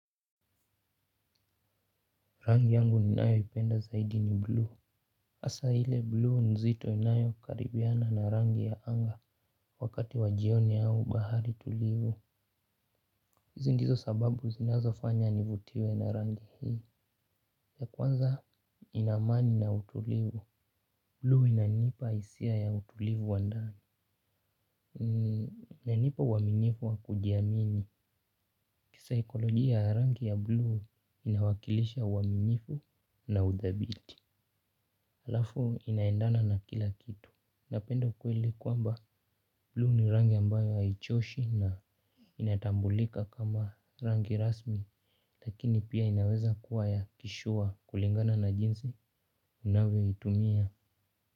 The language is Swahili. Rangi yangu ninayo ipenda zaidi ni blue. Hasaa ile bluu nzito inayo karibiana na rangi ya anga wakati wa jioni au bahari tulivu. Hizi ndizo sababu zinazo fanya nivutiwe na rangi hii. Ya kwanza ina amani na utulivu. Bluu inanipa hisia ya utulivu wa ndani. Inanipa uaminifu wa kujiamini. Kisaikolojia rangi ya bluu inawakilisha uaminifu na udhabiti. Halafu inaendana na kila kitu, napenda ukweli kwamba bluu ni rangi ambayo haichoshi na inatambulika kama rangi rasmi, lakini pia inaweza kuwa ya kishua kulingana na jinsi unavyo itumia.